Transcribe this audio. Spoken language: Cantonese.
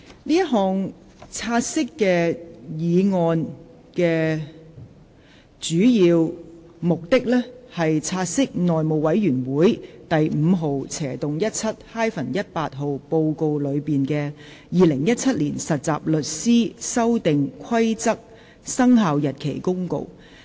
這項"察悉議案"的主要目的是，察悉內務委員會第 5/17-18 號報告內的《〈2017年實習律師規則〉公告》。